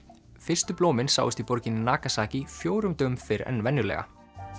fyrstu blómin sáust í borginni Nagasaki fjórum dögum fyrr en venjulega